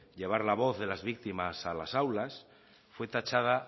llevar la voz de las víctimas a las aulas fue tachada